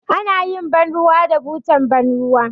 Anayin ban ruwa da butar ban ruwa